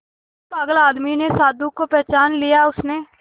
उस पागल आदमी ने साधु को पहचान लिया उसने